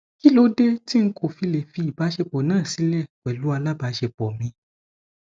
kí ló dé tí n kò fi lè fi ìbáṣepọ náà sílẹ pẹlú alábàáṣepọ mi